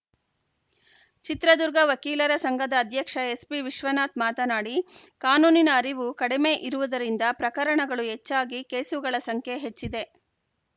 ಚಿತ್ರದುರ್ಗ ವಕೀಲರ ಸಂಘದ ಅಧ್ಯಕ್ಷ ಎಸ್‌ಬಿ ವಿಶ್ವನಾಥ್‌ ಮಾತನಾಡಿ ಕಾನೂನಿನ ಅರಿವು ಕಡಿಮೆ ಇರುವುದರಿಂದ ಪ್ರಕರಣಗಳು ಹೆಚ್ಚಾಗಿ ಕೇಸುಗಳ ಸಂಖ್ಯೆ ಹೆಚ್ಚಿದೆ